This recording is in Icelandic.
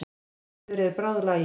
Gerður er bráðlagin.